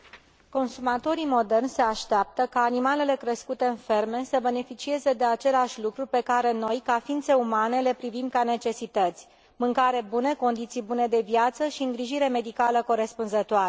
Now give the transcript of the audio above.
Consumatorii moderni se așteaptă ca animalele crescute în ferme să beneficieze de aceleași lucruri pe care noi, ca ființe umane, le privim ca necesități mâncare bună, condiții bune de viață și îngrijire medicală corespunzătoare.